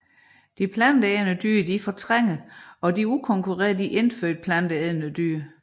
De planteædende dyr fortrænger og udkonkurrerer de indfødte planteædende dyr